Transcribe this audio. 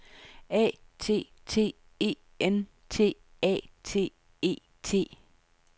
A T T E N T A T E T